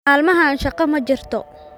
Maalmahan shaqo ma jirto